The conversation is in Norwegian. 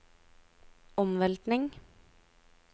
omveltning